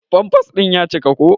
Pampas din ƴa cika ko.